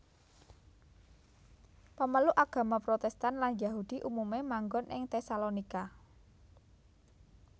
Pemeluk agama Protestan lan Yahudi umumé manggon ing Tesalonika